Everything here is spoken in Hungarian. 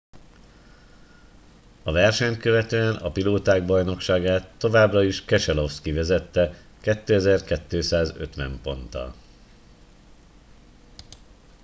a versenyt követően a pilóták bajnokságát továbbra is keselowski vezette 2,250 ponttal